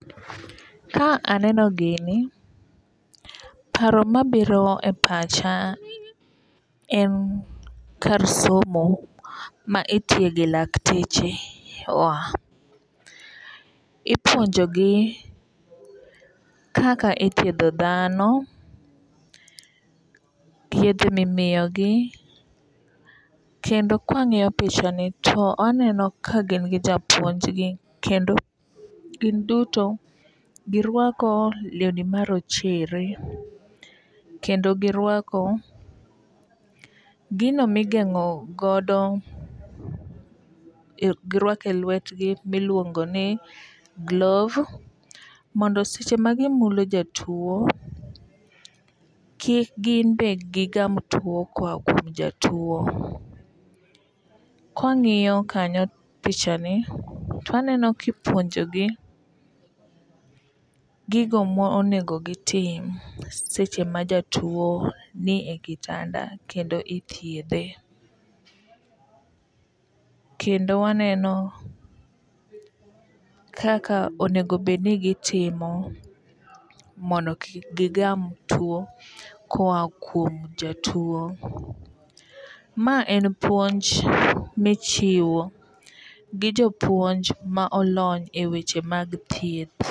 Ka aneno gini paro mabiro e pacha en kar somo ma itiege lakteche wa. Ipuonjo gi kaka ithiedho dhano ,yedhe mimiyo gi kendo kwang'iyo picha ni to aneno ka gin gi japuonj gi kendo gin duto girwako lewni marochere kendo girwako gino migeng'o godo girwake lwetgi miluongo ni gloves mondo seche ma gimulo jatuo ,kik gin be gigam tuo koa kuom jatuo. Kwang'iyo kanyo picha ni twaneno kipuonjo gi gigo monego gitim seche ma jatuo nie kitanda kendo ithiedhe. Kendo waneno kaka onego bed ni gitimo mondo kik gigam tuo koa kuom jatuo ka kuom jatuo ma en puonj michiwo gi jopuonj ma olony e weche mag thieth.